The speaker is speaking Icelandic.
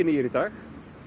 nýir í dag